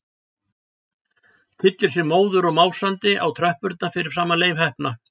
Tyllir sér móður og másandi á tröppurnar fyrir framan Leif heppna.